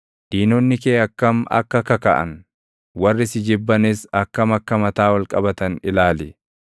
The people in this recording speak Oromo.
Diinonni kee akkam akka kakaʼan, warri si jibbanis akkam akka mataa ol qabatan ilaali.